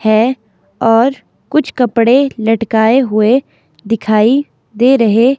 है और कुछ कपड़े लटकाए हुए दिखाई दे रहे--